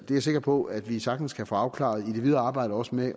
jeg sikker på at vi sagtens kan få afklaret i det videre arbejde også med